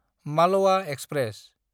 मालोआ express